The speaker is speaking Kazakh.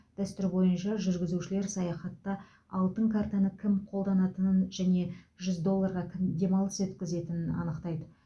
дәстүр бойынша жүргізушілер саяхатта алтын картаны кім қолданатынын және жүз долларға кім демалыс өткізетінін анықтайды